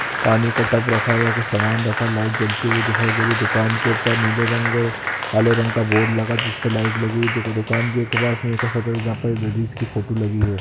पानी का टप रखा हुआ है कुछ समान रखा है लाइट जलते हुए दिखाई दे रही है दुकान के ऊपर नीले रंग और काले रंग का बोर्ड लगा जिसपे लाइट लगी हुई है दुकान के पास एक और शटर है जहां पर लेडिस की फोटो लगी है।